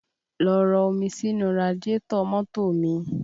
Lọ rọ omi sínú radiátọ̀ mọ́tò mi!